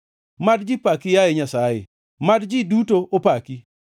Mad ji paki, yaye Nyasaye; mad ji duto opaki.